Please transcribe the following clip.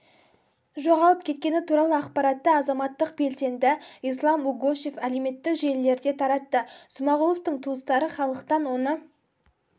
жоғалып кеткені туралы ақпаратты азаматтық белсенді ислам угушев әлеуметтік желілерде таратты смағұловтың туыстары халықтан оны